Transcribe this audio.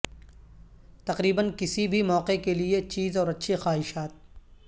تقریبا کسی بھی موقع کے لئے چیز اور اچھی خواہشات